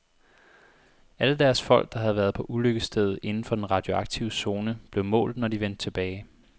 Alle deres folk, der havde været på ulykkesstedet inden for den radioaktive zone, blev målt, når de vendte tilbage.